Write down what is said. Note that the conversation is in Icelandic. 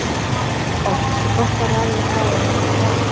Oftast er gott að ræða við þá ef eitthvað er að.